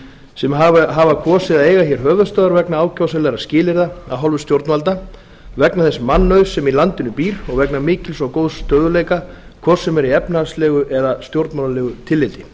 sem hafa kosið að eiga hér höfuðstöðvar vegna ákjósanlegra skilyrða af hálfu stjórnvalda vegna þess mannauðs sem í landinu býr og vegna mikils og góðs stöðugleika hvort sem er í efnahagslegu og stjórnmálalegu tilliti